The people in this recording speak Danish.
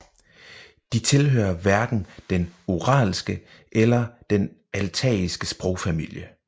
De tilhører hverken den uralske eller den altaiske sprogfamilie